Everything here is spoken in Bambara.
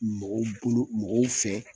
Mɔgɔw bolo mɔgɔw fɛ